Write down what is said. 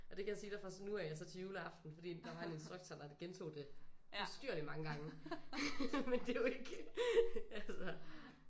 Og det kan jeg sige dig fra nu af og så til juleaften fordi der var en instruktor der gentog det ustyrlig mange gange men det er jo ikke altså